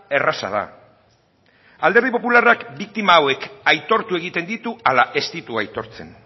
erraza da alderdi popularrak biktima hauek aitortu egiten ditu ala ez ditu aitortzen